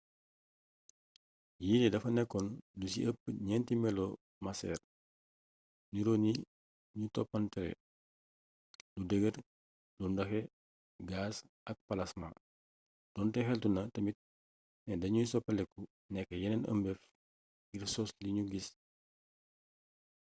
yillee dafa nekkoon lu ci ëpp ñeenti melo maceer niroo ni ñu toppalantee: lu dëgër lu ndoxe gaas ak palasmaa doonte xeltu na tamit ne dañuy soppeeku nekk yeneen ëmbeef ngir sos li nu gis